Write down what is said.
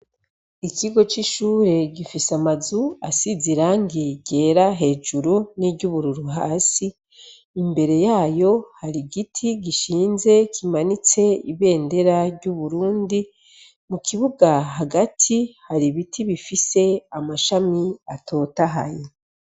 Ikigo c'ishure gifise amazu asize irangi gera hejuru n'iryubururu hasi imbere yayo hari igiti gishinze kimanitse ibendera ry'uburundi, mu kibuga hagati hari ibiti bifise amashami atotahaye.